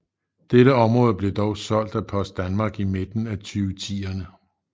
Dette område blev dog solgt af Post Danmark i midten af 2010erne